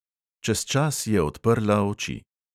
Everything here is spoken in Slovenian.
Čez čas je odprla oči.